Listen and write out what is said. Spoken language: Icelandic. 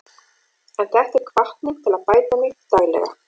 En þetta er hvatning til að bæta mig daglega.